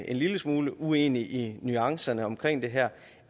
en lille smule uenige i nuancerne omkring det her